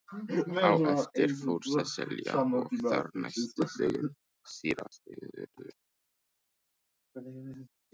Á eftir fór Sesselja og þar næst síra Sigurður.